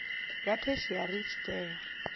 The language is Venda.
ya theshiari i tshi tea